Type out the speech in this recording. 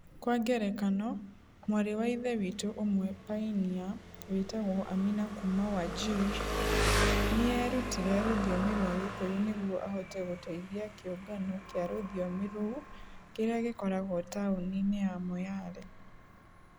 Kwa ngerekano, mwarĩ wa Ithe witũ ũmwe painia wĩtagwo Amina kuuma Wajir, nĩ eerutire rũthiomi rwa Gĩkũyũ nĩguo ahote gũteithia kĩũngano kĩa rũthiomi rũu kĩrĩa gĩkoragwo taũni-inĩ ya Moyale